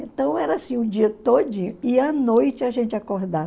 Então era assim o dia todinho e à noite a gente acordava.